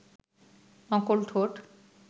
নকল ঠোঁট